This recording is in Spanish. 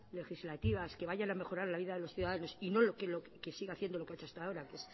legislativas que vayan a mejorar la vida de los ciudadanos y no que siga haciendo lo que ha hecho hasta ahora que